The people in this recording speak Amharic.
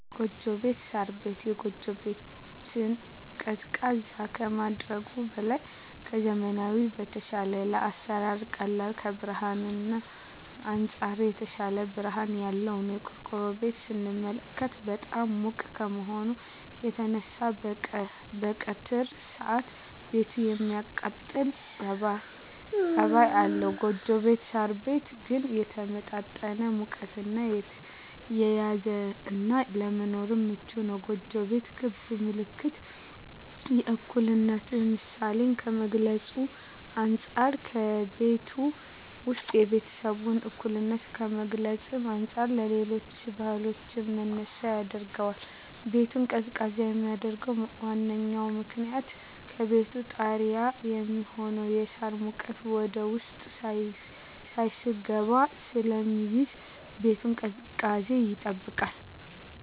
ጎጆ ቤት(ሳር ቤት)። ጎጆ ቤት ቤትን ቀዝቃዛ ከማድረጉም በላይ ከዘመናዊዉ በተሻለ ለአሰራር ቀላል ከብርሀንም አንፃር የተሻለ ብርሀን ያለዉ ነዉ። ቆርቆሮ ቤትን ስንመለከት በጣም ሙቅ ከመሆኑ የተነሳ በቀትር ሰአት ቤቱ የማቃጠል ፀባይ አለዉ ጎጆ ቤት (ሳር ቤት) ግን የተመጣጠነ ሙቀትን የያዘ እና ለመኖርም ምቹ ነዉ። ጎጆ ቤት ክብ ምልክት የእኩልነት ምሳሌን ከመግልፁ አንፃ ከቤቱ ዉስጥ የቤተሰቡን እኩልነት ከመግለፅ አንፃር ለሌሎች ባህሎችም መነሻ ያደርገዋል። ቤቱን ቀዝቃዛ የሚያደርገዉ ዋነኛዉ ምክንያት ከቤቱ ጣሪያ የሚሆነዉ የሳር ሙቀት ወደዉስጥ ሳይስገባ ስለሚይዝ የቤቱን ቅዝቃዜ ይጠብቃል።